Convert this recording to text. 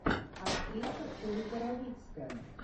актриса ольга равицкая